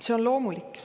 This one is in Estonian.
See on loomulik.